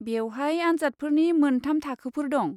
बेवहाय आनजादफोरनि मोनथाम थाखोफोर दं।